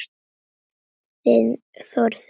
Þinn Þórður Ingi.